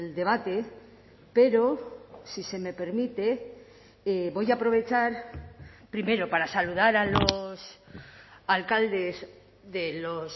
debate pero si se me permite voy a aprovechar primero para saludar a los alcaldes de los